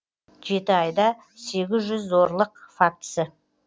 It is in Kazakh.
жеті айда сегіз жүз зорлық фактісі